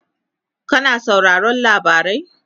kana sauraron labarai?